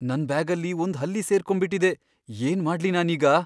ನನ್ ಬ್ಯಾಗಲ್ಲಿ ಒಂದ್ ಹಲ್ಲಿ ಸೇರ್ಕೊಂಬಿಟಿದೆ. ಏನ್ ಮಾಡ್ಲಿ ನಾನೀಗ?